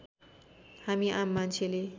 हामी आम मान्छेले